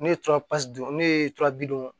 Ne ye don ne ye bi duuru